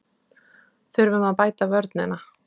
Þurfum að bæta vörnina